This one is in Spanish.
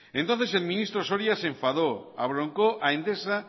entonces el ministro soria se enfadó abroncó a endesa